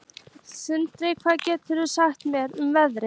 Sigdór, hvað geturðu sagt mér um veðrið?